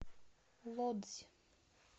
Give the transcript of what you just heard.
лодзь